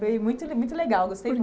Foi muito le muito legal, gostei